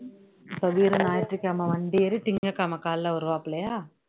இப்போ வீரு ஞாயிற்றுக் கிழமை வண்டி ஏறி திங்கட்கிழமை காலையில வருவாப்லயா